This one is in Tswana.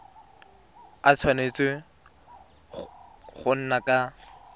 a tshwanetse go nna ka